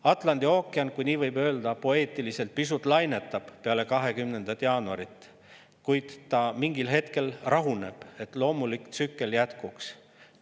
Atlandi ookean, kui nii võib poeetiliselt öelda, pisut lainetab peale 20. jaanuarit, kuid mingil hetkel ta rahuneb, et loomulik tsükkel jätkuks.